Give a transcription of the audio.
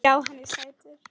Já, hann er sætur.